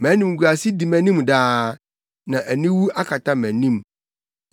Mʼanimguase di mʼanim daa, na aniwu akata mʼanim,